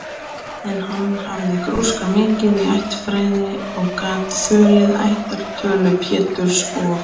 En hann hafði grúskað mikið í ættfræði og gat þulið ættartölu Péturs og